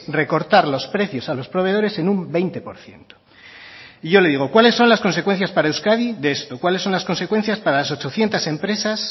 recortar los precios a los proveedores en un veinte por ciento y yo le digo cuáles son las consecuencias para euskadi de esto cuáles son las consecuencias para las ochocientos empresas